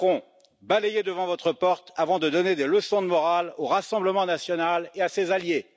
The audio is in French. Macron, balayez devant votre porte avant de donner des leçons de morale au Rassemblement national et à ses alliés!